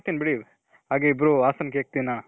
ಮಾಡ್ತಿನಿ ಬಿಡಿ. ಹಾಗೆ ಇಬ್ರು ಹಾಸನ್ cake ತಿನ್ನಣ .